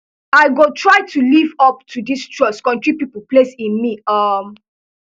i go try to live up to di trust kontri pipo place in me um